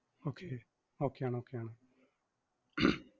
okay okay യാണ് okay യാണ്.